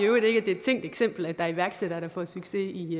iværksætter som får succes i